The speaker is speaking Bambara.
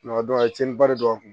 a ye cɛnniba de don a kun